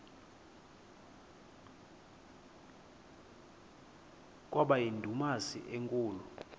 kwaba yindumasi enkulu